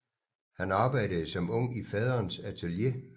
Han arbejdede som ung i faderens atelier